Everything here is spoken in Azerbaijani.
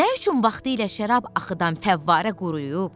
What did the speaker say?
Nə üçün vaxtilə şərab axıdan fəvvarə quruyub?